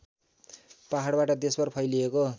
पहाडबाट देशभर फैलिएको